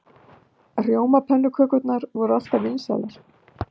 Rjómapönnukökurnar voru alltaf vinsælar.